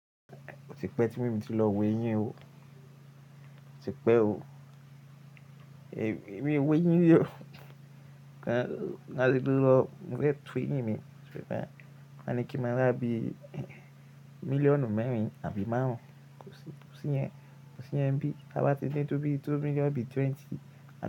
Ó ti pẹ́ tí èmi ti lọ wo eyín o, ó ti pẹ́ o. Èmi owó eyín ri o, ka ti lọ mo fẹ́ tù eyín mi, so tan Wọ́n ní kí n máa rà bí mílíọ̀nù mẹ́rin àbí márùn-ún, kò sí, kò sí yẹn, kò sí yẹn bí a bá ti dé tó bí i tó mílíọ̀nù bí i twenty.